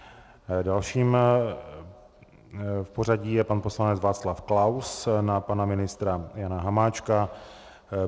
Dalším v pořadí je pan poslanec Václav Klaus na pana ministra Jana Hamáčka.